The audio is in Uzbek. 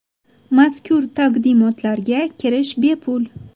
Mazkur taqdimotlarga kirish bepul.